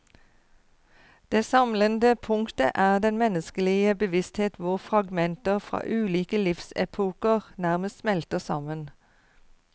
Det samlende punktet er den menneskelige bevissthet hvor fragmenter fra ulike livsepoker nærmest smelter sammen.